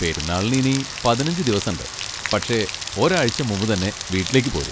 പെരുന്നാളിന് ഇനി പതിനഞ്ച് ദിവസണ്ട്, പക്ഷെ ഒരാഴ്ച്ച മുമ്പ് തന്നെ വീട്ടിലേക്ക് പോര്.